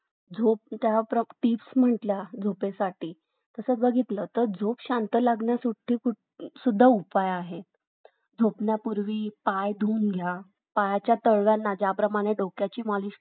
झोप त्या टिप्स म्हटल्या झोपेसाठी जसा बघितला झोप शांत लागण्यासाठी सुद्धा उपाय आहेत झोपण्यापूर्वी पाय धुवून घ्या पायाच्या